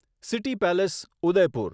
city Palace Udaipur